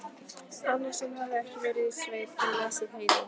Annar sem hafði ekki verið í sveit en lesið Heiðu